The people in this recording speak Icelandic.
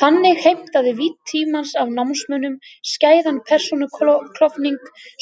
Þannig heimtaði vídd tímans af námsmönnum skæðan persónuklofning,